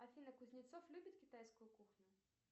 афина кузнецов любит китайскую кухню